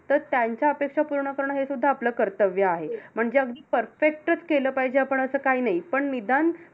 तर त्यांच्या अपेक्षा पूर्ण करणं, हेसुद्धा आपलं कर्तव्य आहे. म्हणजे अगदी perfect चं केलं पाहिजे, आपण असं काय नाही. पण निदान